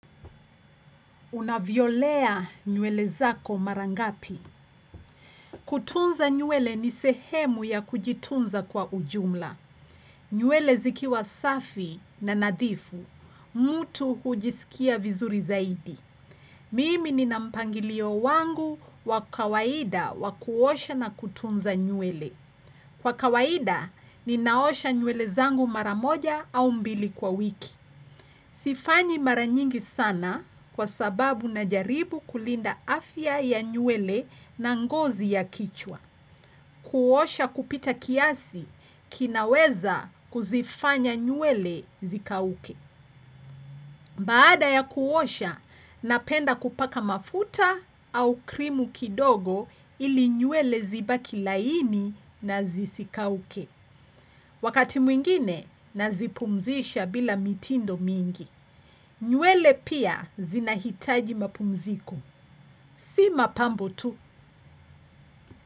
Unavyolea nywele zako mara ngapi. Kutunza nywele ni sehemu ya kujitunza kwa ujumla. Nywele zikiwa safi na nadhifu. Mtu hujisikia vizuri zaidi. Mimi nina mpangilio wangu wa kawaida wa kuosha na kutunza nywele. Kwa kawaida ninaosha nywele zangu mara moja au mbili kwa wiki. Sifanyi mara nyingi sana kwa sababu najaribu kulinda afya ya nywele na ngozi ya kichwa. Kuosha kupita kiasi kinaweza kuzifanya nywele zikauke. Baada ya kuosha, napenda kupaka mafuta au krimu kidogo ili nywele zibaki laini na zisikauke. Wakati mwingine, nazipumzisha bila mitindo mingi. Nywele pia zinahitaji mapumziko. Si mapambo tu.